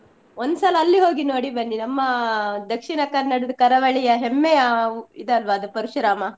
ಒಂದ್ಸಲ ಅಲ್ಲಿಗೆ ಹೋಗಿ ನೋಡಿ ಬನ್ನಿ ನಮ್ಮಾ Dakshina Kannada ದ ಕರಾವಳಿಯ ಹೆಮ್ಮೆಯ ಊ~ ಇದಲ್ವಾ ಅದು ಪರಶುರಾಮ.